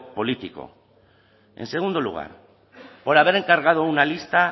político en segundo lugar por haber encargado una lista